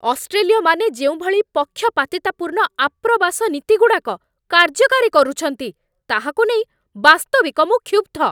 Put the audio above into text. ଅଷ୍ଟ୍ରେଲୀୟମାନେ ଯେଉଁଭଳି ପକ୍ଷପାତିତାପୂର୍ଣ୍ଣ ଆପ୍ରବାସ ନୀତିଗୁଡ଼ାକ କାର୍ଯ୍ୟକାରୀ କରୁଛନ୍ତି, ତାହାକୁ ନେଇ ବାସ୍ତବିକ ମୁଁ କ୍ଷୁବ୍ଧ।